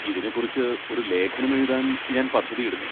ഇതിനെക്കുറിച്ച് ഒരു ലേഖനം എഴുതാൻ ഞാൻ പദ്ധതിയിടുന്നു.